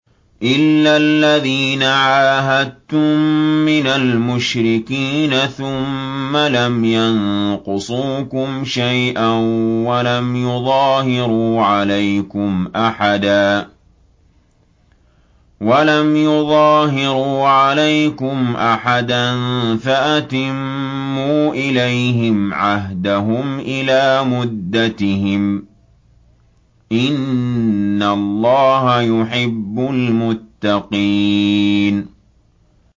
إِلَّا الَّذِينَ عَاهَدتُّم مِّنَ الْمُشْرِكِينَ ثُمَّ لَمْ يَنقُصُوكُمْ شَيْئًا وَلَمْ يُظَاهِرُوا عَلَيْكُمْ أَحَدًا فَأَتِمُّوا إِلَيْهِمْ عَهْدَهُمْ إِلَىٰ مُدَّتِهِمْ ۚ إِنَّ اللَّهَ يُحِبُّ الْمُتَّقِينَ